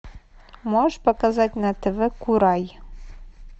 можешь показать на тв курай